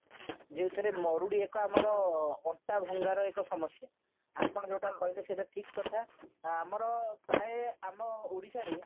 ଯୋଉଥିରେ ମରୁଡି ଏକ ଅଣ୍ଟା ଭଙ୍ଗାର ଏକ ସମସ୍ଯା ଆପଣ ଯୋଉଟା କହିଲ ସେଇଟା ଠିକ କଥା ଆଉ ଆମର ପ୍ରାଏ ଆମ ଓଡିଶାରେ